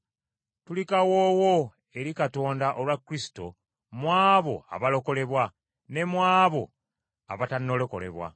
Tuli kawoowo eri Katonda olwa Kristo mu abo abalokolebwa ne mu abo abatannalokolebwa.